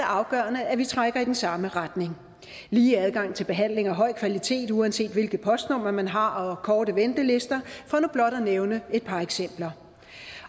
afgørende at vi trækker i den samme retning lige adgang til behandling af høj kvalitet uanset hvilket postnummer man har og korte ventelister for nu blot at nævne et par eksempler